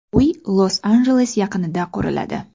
Uy Los-Anjeles yaqinida quriladi.